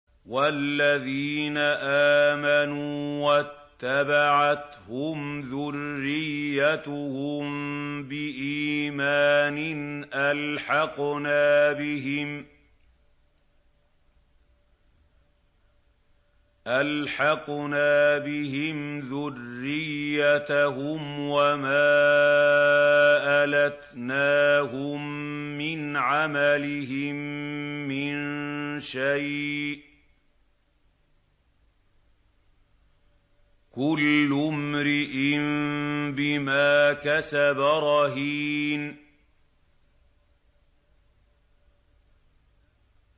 وَالَّذِينَ آمَنُوا وَاتَّبَعَتْهُمْ ذُرِّيَّتُهُم بِإِيمَانٍ أَلْحَقْنَا بِهِمْ ذُرِّيَّتَهُمْ وَمَا أَلَتْنَاهُم مِّنْ عَمَلِهِم مِّن شَيْءٍ ۚ كُلُّ امْرِئٍ بِمَا كَسَبَ رَهِينٌ